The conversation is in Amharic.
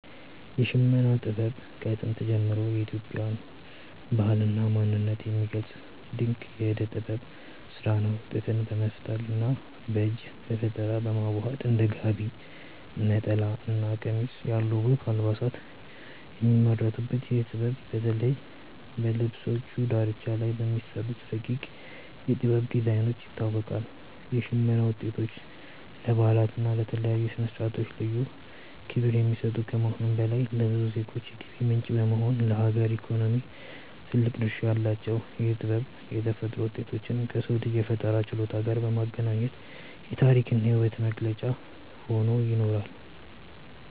የሽመና ጥበብ ከጥንት ጀምሮ የኢትዮጵያን ባህልና ማንነት የሚገልጽ ድንቅ የእደ ጥበብ ስራ ነው። ጥጥን በመፍተልና በእጅ በፈጠራ በማዋሃድ እንደ ጋቢ፣ ነጠላና ቀሚስ ያሉ ውብ አልባሳት የሚመረቱበት ይህ ጥበብ፣ በተለይ በልብሶቹ ዳርቻ ላይ በሚሰሩት ረቂቅ የ"ጥበብ" ዲዛይኖች ይታወቃል። የሽመና ውጤቶች ለበዓላትና ለተለያዩ ስነ-ስርዓቶች ልዩ ክብር የሚሰጡ ከመሆኑም በላይ፣ ለብዙ ዜጎች የገቢ ምንጭ በመሆን ለሀገር ኢኮኖሚ ትልቅ ድርሻ አላቸው። ይህ ጥበብ የተፈጥሮ ውጤቶችን ከሰው ልጅ የፈጠራ ችሎታ ጋር በማገናኘት የታሪክና የውበት መገለጫ ሆኖ ይኖራል።